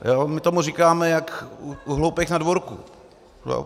My tomu říkáme jak u hloupých na dvorku.